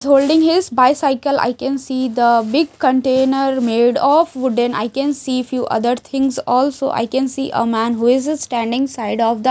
holding his bicycle I can see the big container made of wooden I can see few other things also I can see a man who is standing side of the --